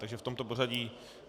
Takže v tomto pořadí.